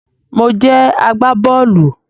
Mo jẹ agbá-bọ́ọ́lù